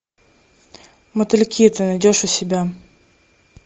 мотыльки ты найдешь у себя